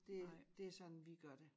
Det det sådan vi gør det